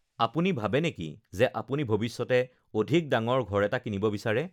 আপুনি ভাৱে নেকি যে আপুনি ভৱিষ্যতে অধিক ডাঙৰ ঘৰ এটা কিনিব বিচাৰে?